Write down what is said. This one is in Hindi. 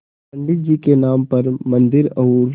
पंडित जी के नाम पर मन्दिर और